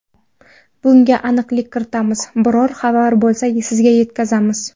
Bunga aniqlik kiritamiz, biror xabar bo‘lsa, sizga yetkazamiz.